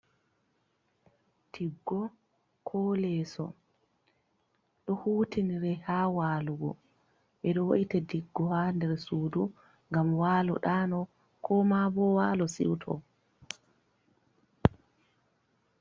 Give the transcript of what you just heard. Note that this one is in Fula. Tiggo ko leeso ɗo hutinire haa waalugo .Ɓe ɗo we’ita diggo haa nder suudu ,ngam waalo ɗaano ko ma bo waalo siwto.